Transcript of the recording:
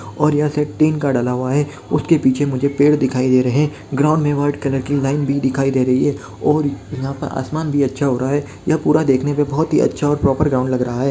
.और यहाँ shed tin का डला हुआ है उसके पीछे मुझे पेड़ दिखाई दे रहे है ग्राउंड में वाइट कलर की लाइन भी दिखाई दे रही है और यहाँ पे आसमान भी अच्छा हो रहा है यह पूरा देखने पे बहुत ही अच्छा और प्रॉपर ग्राउंड लग रहा है।